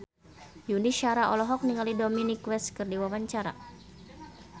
Yuni Shara olohok ningali Dominic West keur diwawancara